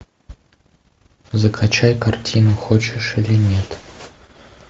закачай картину хочешь или нет